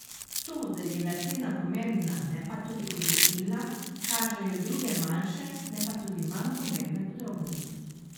To, da je bila cena pomembna, ne pa tudi odločilna, kažejo druge manjše, ne pa tudi manj pomembne podrobnosti.